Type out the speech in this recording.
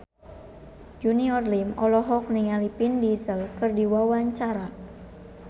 Junior Liem olohok ningali Vin Diesel keur diwawancara